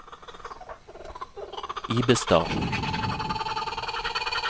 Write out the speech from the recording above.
Ibestad